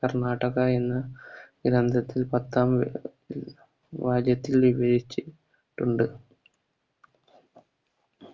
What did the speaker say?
കർണ്ണാടകയെന്ന